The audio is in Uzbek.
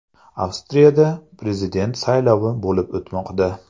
Avstriyada prezident saylovi bo‘lib o‘tmoqda.